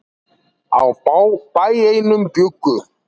Á bæ einum bjuggu.